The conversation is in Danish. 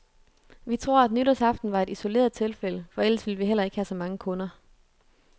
Vi tror, at nytårsaften var et isoleret tilfælde, for ellers ville vi heller ikke have så mange kunder.